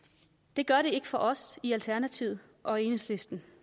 det gør det ikke for os i alternativet og i enhedslisten